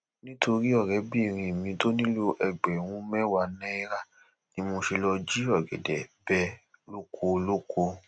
nítorí ọrẹbìnrin mi tó nílò ẹgbẹrún mẹwàá náírà ni mo ṣe lọọ jí ọgẹdẹ bẹ lóko olóko